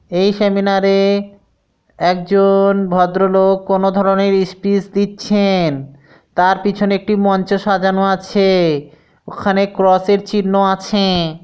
এই সেমিনার -এ একজন ভদ্রলোক কোন ধরনের স্পিচ দিচ্ছেন তার পিছনে একটি মঞ্চে সাজানো আছে ওখানে ক্রস -এর চিহ্ন আছ।